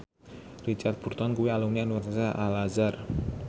Richard Burton kuwi alumni Universitas Al Azhar